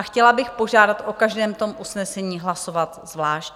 A chtěla bych požádat o každém tom usnesení hlasovat zvlášť.